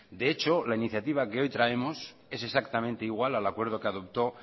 de hecho la iniciativa que hoy traemos es exactamente igual al acuerdo que adoptó